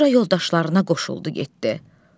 Sonra yoldaşlarına qoşuldu getdi.